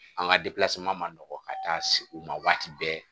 An ka ma nɔgɔ ka taa se u ma waati bɛɛ